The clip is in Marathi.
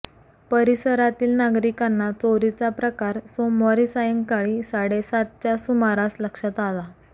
परिसरातील नागरिकांना चोरीचा प्रकार सोमवारी सायंकाळी साडेसातच्या सुमारास लक्षात आला